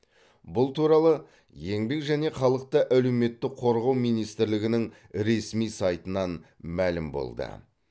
бұл туралы еңбек және халықты әлеуметтік қорғау министрлігінің ресми сайтынан мәлім болды